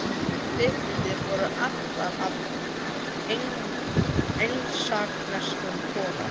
Kvikmyndir voru allar af engilsaxneskum toga.